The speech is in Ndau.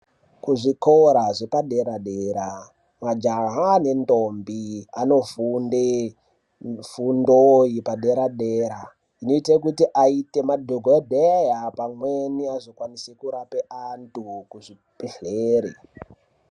Kuzvikora zvepadera-dera majaha nendombi anofunde mifundo yepadera-dera inoite kuti aite madhokodheya pamweni azokwanise kurape antu kuzvibhedhlere.